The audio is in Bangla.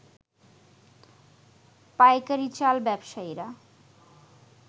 পাইকারী চাল ব্যবসায়ীরা